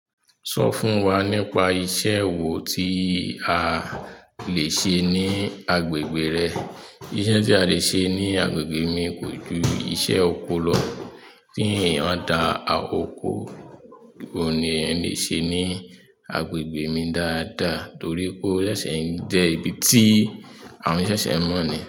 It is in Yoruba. Sọ fún wa nípa iṣẹ́ wo tí a lè ṣe ní agbègbè rẹ. Iṣẹ́ tí a lè ṣe ní agbègbè mi kò ju iṣẹ́ oko lọ. Kí èèyàn dá oko, òun ni ẹeyan lè ṣe ní agbègbè mi dáadáa torí o ṣẹ̀ṣẹ̀ ń jẹ́ ibi tí àwọn ṣẹ̀ṣẹ̀ n mọ̀ ni.